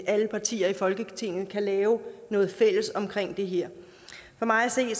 alle partier i folketinget kan lave noget fælles omkring det her for mig at se